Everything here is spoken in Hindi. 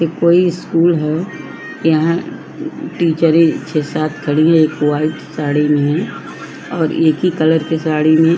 ये कोई स्कूल है यहाँ टीचरे छह सात खड़ी है एक वाइट साड़ी में और एक ही कलर की साड़ी में --